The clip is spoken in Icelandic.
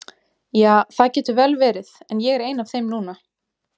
Ja, það getur vel verið, en ég er ein af þeim núna.